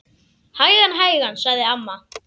Hægan, hægan sagði amma.